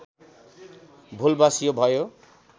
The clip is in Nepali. भुलवश यो भयो